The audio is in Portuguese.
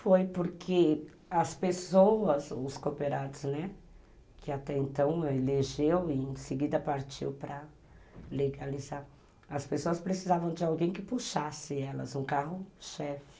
Foi, porque as pessoas, os cooperados, né, que até então elegeu e em seguida partiu para legalizar, as pessoas precisavam de alguém que puxasse elas, um carro-chefe.